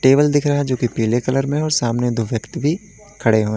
Table दिख रहा है जो की पीले कलर में है और सामने दो व्यक्ति भी खड़े हैं।